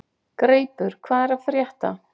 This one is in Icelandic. Greipur, hvað er að frétta?